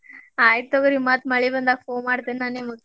ಹ್ಮ್ ಆಯಿತ್ ತಗೋರಿ ಮತ್ತ್ ಮಳಿ ಬಂದಾಗ phone ಮಾಡ್ತೇನಿ ನಾ ನಿಮಗ್.